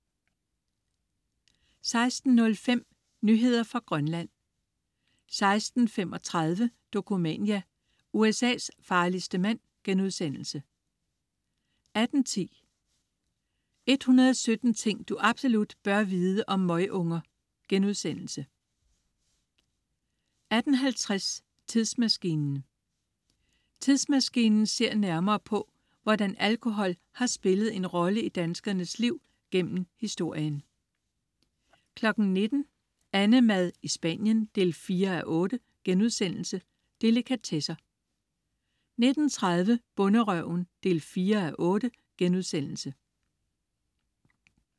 16.05 Nyheder fra Grønland 16.35 Dokumania: USA's farligste mand* 18.10 117 ting du absolut bør vide om møgunger* 18.50 Tidsmaskinen. "Tidsmaskinen" ser nærmere på, hvordan alkohol har spillet en rolle i danskernes liv gennem historien 19.00 AnneMad i Spanien 4:8.* Delikatesser 19.30 Bonderøven 4:8*